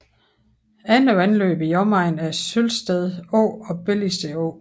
Andre vandløb i omegnen er Sølvested Å og Belligsted Å